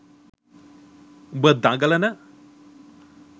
උඹ දඟලන